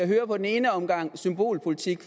høre den ene omgang symbolpolitik